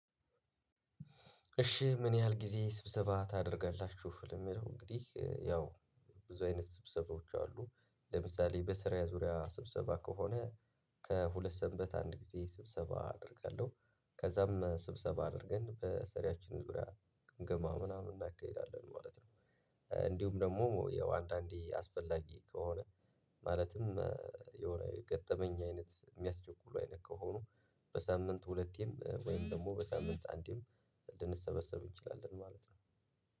እሺ ምን ያህል ጊዜ ስብሰባ ታደርጋላችሁ? ለሚለው እንግዲህ ያው ብዙ አይነት ስብሰባዎች አሉ ለምሳሌ በስራ ዙሪያ ስብሰባ ከሆነ ከሁለት ሰንበት አንድ ጊዜ ስብሰባ አደርጋለሁ። ከዛም ስብሰባ አድርገን በስራችን ዙሪያ ግምገማ ምናምን እናካሂዳለን ማለት ነው። እንዲሁም ደግሞ ያው አንዳንዴ አስፈላጊ ከሆነ ማለትም የሆነ የገጠመኝ አይነት የሚያስቸኩሉ አይነት ከሆኑ በሳምንት ሁለቴም ወይም ደግሞ በሳምንት አንዴም ልንሰበሰብ እንችላለን። ማለት ነው